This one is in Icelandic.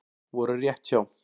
Voru rétt hjá